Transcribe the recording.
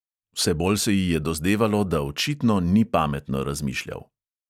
Vse bolj se ji je dozdevalo, da očitno ni pametno razmišljal.